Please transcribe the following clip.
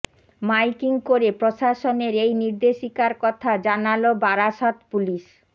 miking করে প্রশাসনের এই নির্দেশিকার কথা জানাল বারাসত পুলিশ